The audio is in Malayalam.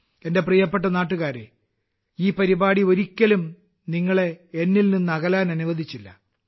എന്റെ പ്രിയപ്പെട്ട നാട്ടുകാരെ ഈ പരിപാടി ഒരിക്കലും നിങ്ങളെ എന്നിൽ നിന്ന് അകലാൻ അനുവദിച്ചില്ല